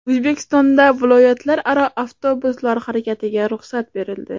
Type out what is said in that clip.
O‘zbekistonda viloyatlararo avtobuslar harakatiga ruxsat berildi.